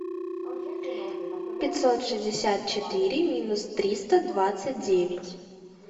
пятьсот шестьдесят четыре минус триста двадцать девять